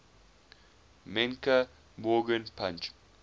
menke morgan punch